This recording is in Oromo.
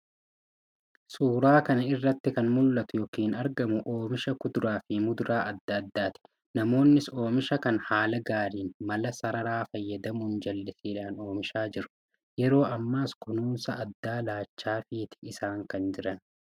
Suura kana irratti kan mul'atu yookiin argamu oomisha kuduraafi muduraa adda addaati. Namoonnis oomisha kana haala gaariin mala saararaa fayyadamuun, jallisiidhan oomishaa jiru. Yeroo ammaas kunuunsa addaa laachaafiti kan isaan jiran.